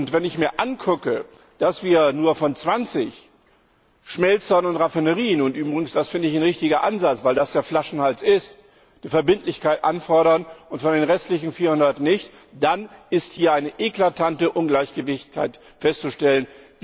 Wenn ich mir ansehe, dass wir nur von 20 Schmelzen und Raffinerien und das ist übrigens ein richtiger Ansatz, weil das der Flaschenhals ist Verbindlichkeit einfordern und von den restlichen 400 nicht, dann ist hier ein eklatantes Ungleichgewicht festzustellen.